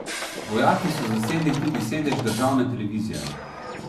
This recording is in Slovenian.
Vojaki so zasedli tudi sedež državne televizije.